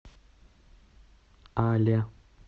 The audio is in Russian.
але